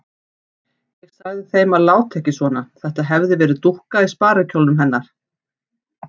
Ég sagði þeim að láta ekki svona, þetta hefði verið dúkka í sparikjólnum hennar.